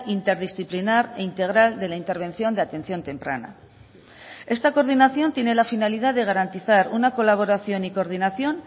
interdisciplinar e integral de la intervención de atención temprana esta coordinación tiene la finalidad de garantizar una colaboración y coordinación